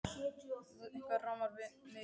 Jú, eitthvað rámar mig í það.